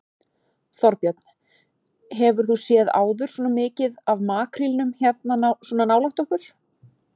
Þorbjörn: Hefur þú séð áður svona mikið af makrílnum hérna svona nálægt okkur?